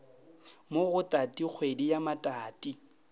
mo go tatikgwedi ya matati